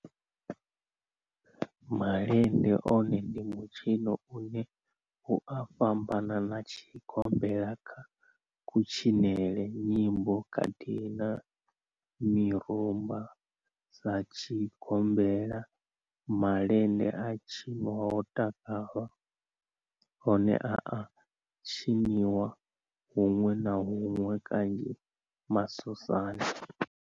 Malende one ndi mitshino ine i a fhambana na tshigombela kha kutshinele nyimbo khathihi na mirumba sa tshigombela malende a tshinwa ho takalwa one a a tshiniwa hunwe na hunwe kanzhi masosani.